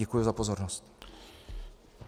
Děkuji za pozornost.